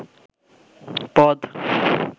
পদ